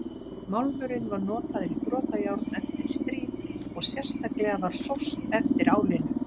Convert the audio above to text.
Málmurinn var notaður í brotajárn eftir stríð og sérstaklega var sóst eftir álinu.